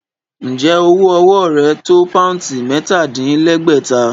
Ǹjẹ́ owó ọwọ́ rẹ tó poundsì mẹ́ta-dín-lẹ́gbẹ̀ta?